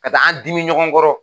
Ka taa an dimin ɲɔgɔn kɔrɔ.